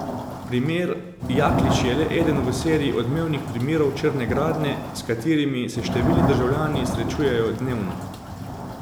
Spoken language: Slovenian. Primer Jaklič je le eden v seriji odmevnih primerov črne gradnje, s katerimi se številni državljani srečujejo dnevno.